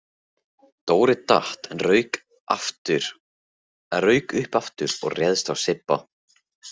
Dóri datt en rauk upp aftur og réðst á Sibba.